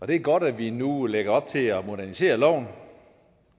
det er godt at vi nu lægger op til at modernisere loven